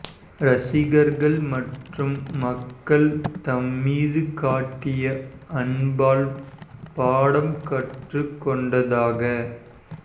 ரசிகர்கள் மற்றும் மக்கள் தம் மீது காட்டிய அன்பால் பாடம் கற்றுக் கொண்டதாக